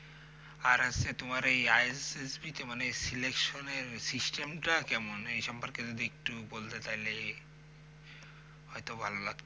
আর হচ্ছে তোমার এই ISSB তে মানে selection system টা কেমন? এই সম্পর্কে যদি একটু বলতে তাহলে হয়ত ভালো লা